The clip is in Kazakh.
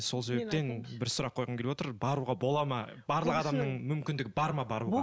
сол себептен бір сұрақ қойғым келіп отыр баруға бола ма барлық адамның мүмкіндігі бар ма баруға